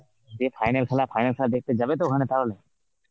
দিয়ে final খেলা, final খেলা দেখতে যাবে তো ওখানে তাহলে?